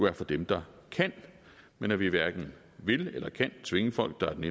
er for dem der kan men at vi hverken vil eller kan tvinge folk der af den